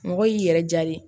Mɔgɔ y'i yɛrɛ diya de ye